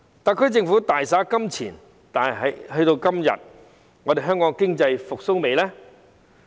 特區政府大灑金錢，但直至今天，香港經濟復蘇了嗎？